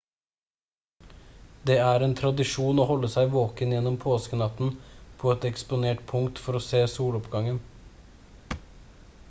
det er en tradisjon å holde seg våken gjennom påskenatten på et eksponert punkt for å se soloppgangen